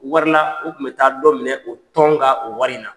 Wari la u tun bɛ taa dɔ minɛ o tɔn ka o wari in na.